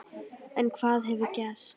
En hvað hefur gerst?